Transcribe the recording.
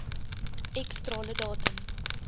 x strale datum